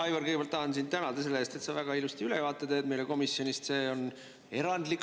Aivar, kõigepealt tahan sind tänada selle eest, et sa teed meile väga ilusti ülevaateid komisjoni tööst.